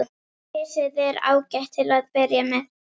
Risið er ágætt til að byrja með.